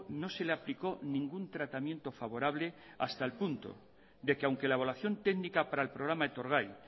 no se le aplicó ningún tratamiento favorable hasta el punto de que aunque la evaluación técnica para el programa etorgai